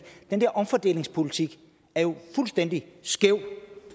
den der omfordelingspolitik er jo fuldstændig skæv